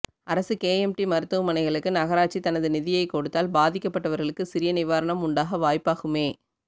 அரசு K M D மருத்துவமனைகளுக்கு நகராட்சி தனது நிதியை கொடுத்தால் பாதிக்கப்பட்டவர்களுக்கு சிறிய நிவாரணம் உண்டாக வாய்ப்பாகுமே